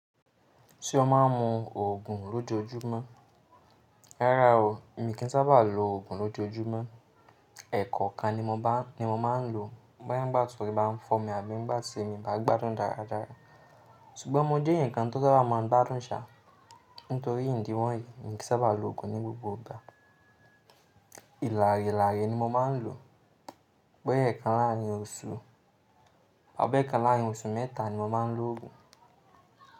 Tí o má a ń mu òògùn lóti ojúmọ́? Rárá o, mi kì í sábà lo òògùn lojoojúmọ́. Ẹ̀kọ̀ kan ni mo má ń lo bóyá ń gba tòrí bá ń fọ́ mi àbí ń bá ti mi bá gbádùn dáradára. Sugbọn mo jẹ́ ǹkan tó sábà maa n gbadun sà nítorí ìdí wọ̀nyí mi kì í sábà lo òògùn ní gbogbo ìgbà. Ìlàrílàrí ni mo má ń lo. Bóyá ẹ̀ẹ̀kan láàrin osù àbí ẹ̀ẹ̀kan láàrin osù mẹ́ta ni mo má ń lo òògùn.